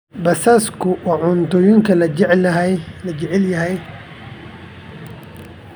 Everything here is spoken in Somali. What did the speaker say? Basasku waa cuntooyinka la jecel yahay.